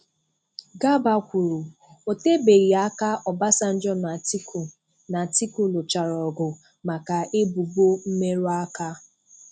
Garba kwuru,'Otebeghị aka Obasanjo na Atiku na Atiku lụchara ọgụ maka ebụbọ mmerụaka.